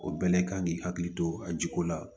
O bɛɛ de kan k'i hakili to a jiko la